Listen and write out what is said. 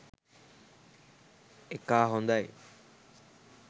එකා හොඳයි